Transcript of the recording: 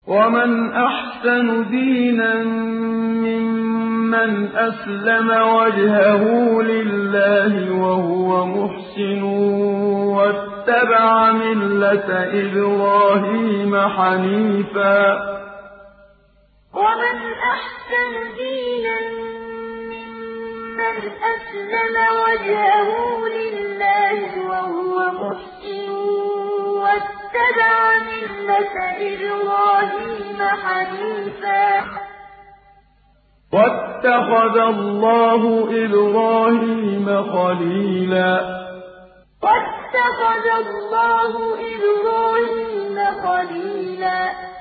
وَمَنْ أَحْسَنُ دِينًا مِّمَّنْ أَسْلَمَ وَجْهَهُ لِلَّهِ وَهُوَ مُحْسِنٌ وَاتَّبَعَ مِلَّةَ إِبْرَاهِيمَ حَنِيفًا ۗ وَاتَّخَذَ اللَّهُ إِبْرَاهِيمَ خَلِيلًا وَمَنْ أَحْسَنُ دِينًا مِّمَّنْ أَسْلَمَ وَجْهَهُ لِلَّهِ وَهُوَ مُحْسِنٌ وَاتَّبَعَ مِلَّةَ إِبْرَاهِيمَ حَنِيفًا ۗ وَاتَّخَذَ اللَّهُ إِبْرَاهِيمَ خَلِيلًا